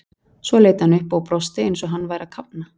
Svo leit hann upp og brosti eins og hann væri að kafna.